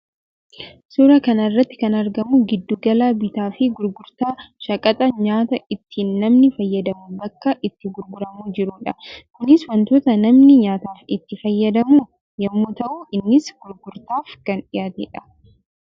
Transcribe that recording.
Suuraa kana irratti kan argamu giddu gala bittaa fi gurgurtaa shaqaxa nyaataa itti namni fayyadamu bakka itti gurguramaa jiruu dha. Kunis wantoota namni nyaataaf itti fayyadamu yammuu ta'u innis gurgurtaaf kan dhiyaatee dha.